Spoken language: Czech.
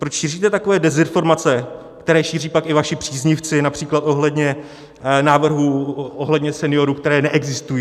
Proč šíříte takové dezinformace, které šíří pak i vaši příznivci například ohledně návrhů, ohledně seniorů, které neexistují?